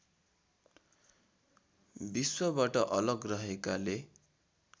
विश्वबाट अलग रहेकाले